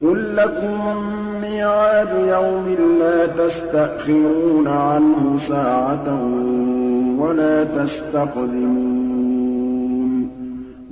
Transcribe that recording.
قُل لَّكُم مِّيعَادُ يَوْمٍ لَّا تَسْتَأْخِرُونَ عَنْهُ سَاعَةً وَلَا تَسْتَقْدِمُونَ